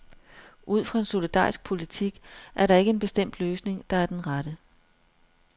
Ud fra en solidarisk politik er der ikke en bestemt løsning, der er den rette.